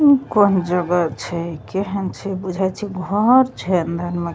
इ कौन जगह छै केहेन छै बुझाय छै घर छै अंदर में ।